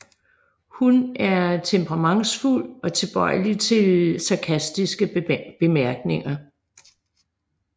Hun er temperamentsfuld og tilbøjelig til sarkastiske bemærkninger